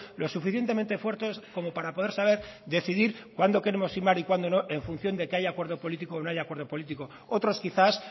lo suficientemente fuerte como para poder saber decidir cuándo queremos firmar y cuando no en función de que haya acuerdo político o no haya acuerdo político otros quizás